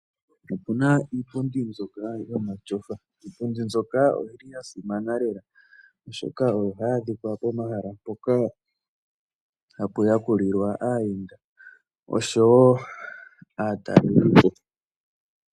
Opu na iipundi mbyoka yomatyofa. Iipundi mbyoka oyi li ya simana lela, oshoka oyo hayi adhika pomahala mpoka hapu yakulilwa aayenda osho wo aatalelipo.